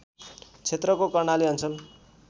क्षेत्रको कर्णाली अञ्चल